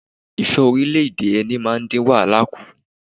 Ìfẹ́-orílẹ̀ - èdè - ẹni máa dín wàhálà kù.